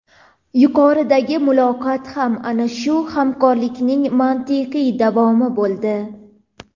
Yuqoridagi muloqot ham ana shu hamkorlikning mantiqiy davomi bo‘ldi.